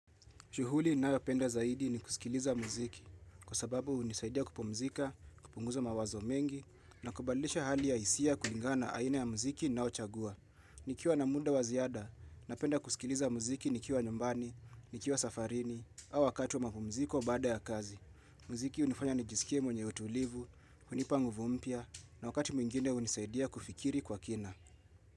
Shuhuli ninayopenda zaidi ni kusikiliza muziki kwa sababu hunisaidia kupumzika, kupunguza mawazo mengi na kubadilisha hali ya hisia kulingana aina ya muziki na nnaochagua. Nikiwa na muda wa ziada, napenda kusikiliza muziki nikiwa nyumbani, nikiwa safarini au wakati wa mapumziko bada ya kazi. Muziki hunifanya nijisikie mwenye utulivu, hunipa nguvu mpya na wakati mwingine hunisaidia kufikiri kwa kina.